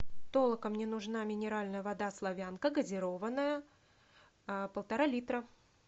толока мне нужна минеральная вода славянка газированная полтора литра